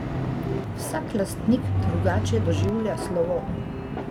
Vsak lastnik drugače doživlja slovo.